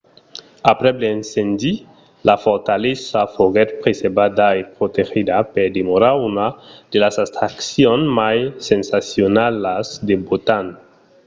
aprèp l'incendi la fortalesa foguèt preservada e protegida per demorar una de las atraccions mai sensacionalas de botan